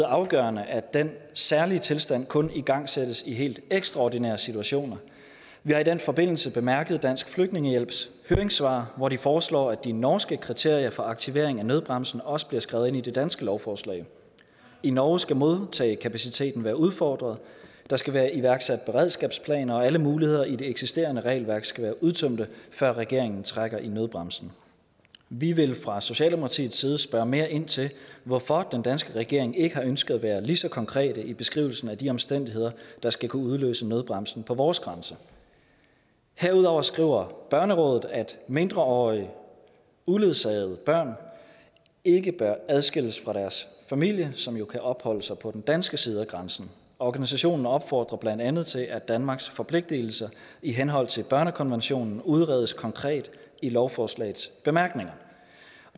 afgørende at den særlige tilstand kun igangsættes i helt ekstraordinære situationer vi har i den forbindelse bemærket dansk flygtningehjælps høringssvar hvori de foreslår at de norske kriterier for aktivering af nødbremsen også bliver skrevet ind i det danske lovforslag i norge skal modtagekapaciteten være udfordret der skal være iværksat beredskabsplaner og alle muligheder i det eksisterende regelværk skal være udtømt før regeringen trækker i nødbremsen vi vil fra socialdemokratiets side spørge mere ind til hvorfor den danske regering ikke har ønsket at være lige så konkret i beskrivelsen af de omstændigheder der skal kunne udløse nødbremsen på vores grænse herudover skriver børnerådet at mindreårige uledsagede børn ikke bør adskilles fra deres familie som jo kan opholde sig på den danske side af grænsen organisationen opfordrer blandt andet til at danmarks forpligtelser i henhold til børnekonventionen udredes konkret i lovforslagets bemærkninger